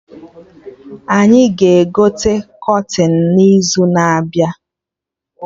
Anyị ga-egote kọtịn n'izu na-abịa